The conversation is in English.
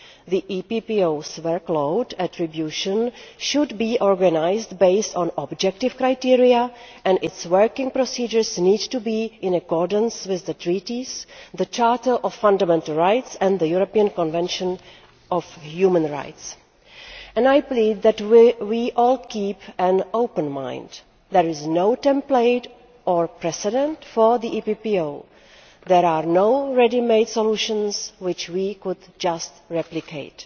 The EPPO's workload attribution should be organised based on objective criteria, and its working procedures need to be in accordance with the Treaties, the Charter of Fundamental Rights and the European Convention on Human Rights. I plead that we all keep an open mind there is no template or precedent for the EPPO there are no ready made solutions which we could just replicate.